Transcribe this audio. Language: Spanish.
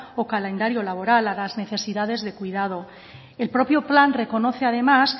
o calendario laboral a las necesidades de cuidado el propio plan reconoce además